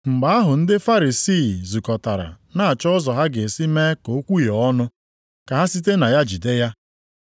Mgbe ahụ ndị Farisii + 22:15 Farisii Ndị otu na-akwado maka idebezu mmemme na omenaala niile ndị Juu. zukọtara na-achọ ụzọ ha ga-esi mee ka o kwuhie ọnụ ka ha site na ya jide ya.